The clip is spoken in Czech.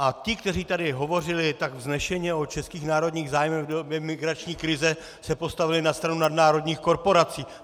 A ti, kteří tady hovořili tak vznešeně o českých národních zájmech v době migrační krize, se postavili na stranu nadnárodních korporací.